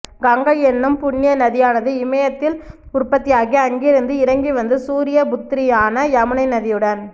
கங்கை என்னும் புண்ணிய நதியானது இமயத்தில் உற்பத்தியாகி அங்கிருந்து இறங்கிவந்து சூரிய புத்ரியான யமுனை நதியுடன்